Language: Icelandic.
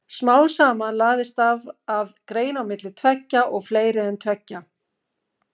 Smám saman lagðist af að greina á milli tveggja og fleiri en tveggja.